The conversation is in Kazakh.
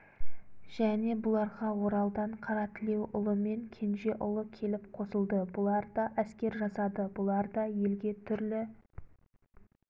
және бұларға оралдан қаратілеуұлы мен кенжеұлы келіп қосылды бұлар да әскер жасады бұлар да елге түрлі